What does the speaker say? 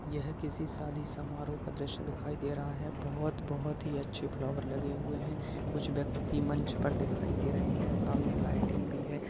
यह किसी शादी समारोह का दृश्य दिखाई दे रहा है बहोत बहोत ही अच्छे फ्लॉवर लगे हुए हैं कुछ व्यक्ति मंच पर दिखाई दे रहे हैं सामने लाइटिंग भी है।